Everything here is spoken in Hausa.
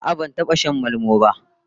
A'a, ban taba shan malmo ba